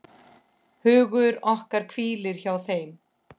Hugur okkar hvílir hjá þeim.